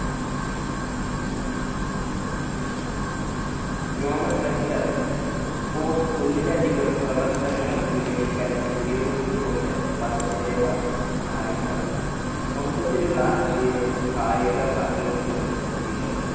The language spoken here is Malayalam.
nomenclature sports ഒന്നിലധികം പ്രവർത്തനങ്ങൾ വിവരിക്കാൻ ഉപയോഗിച്ചുകൊണ്ട് പദത്തിന്‍ടെ പദം കായിക മൊത്തത്തിലുള്ള ആശയം കായിക പങ്കെടുക്കുന്നത് കുട്ടികൾ